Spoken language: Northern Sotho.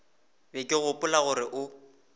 be ke gopola gore o